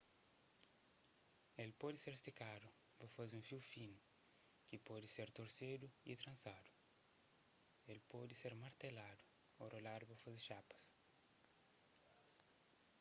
el pode ser stikadu pa faze un fiu finu ki pode ser torsedu y transadu el pode ser marteladu ô roladu pa faze xapas